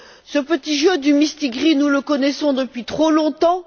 Ce petit jeu du mistigri, nous le connaissons depuis trop longtemps.